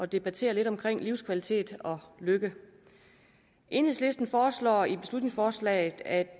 debattere lidt om livskvalitet og lykke enhedslisten foreslår i beslutningsforslaget at